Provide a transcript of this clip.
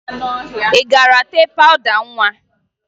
Ị gara tee pawụda nwa?